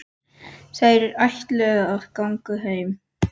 Þær ætla að ganga heim.